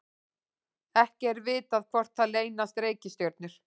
ekki er vitað hvort þar leynast reikistjörnur